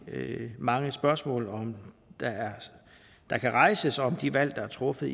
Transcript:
mange spørgsmål der kan rejses om de valg der er truffet